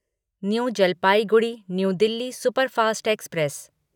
new Jalpaiguri new Delhi superfast express